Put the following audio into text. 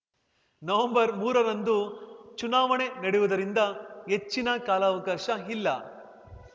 November ಮೂರರಂದು ಚುನಾವಣೆ ನಡೆಯುವುದರಿಂದ ಹೆಚ್ಚಿನ ಕಾಲಾವಕಾಶ ಇಲ್ಲ